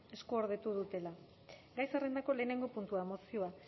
eskuordetu dutela gai zerrendako lehenengo puntua mozioa